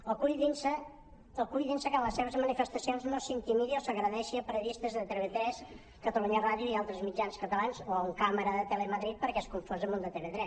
o cuidin se que en les seves manifestacions no s’intimidi o s’agredeixi a periodistes de tv3 catalunya ràdio i altres mitjans catalans o a un càmera de telemadrid perquè és confós amb un de tv3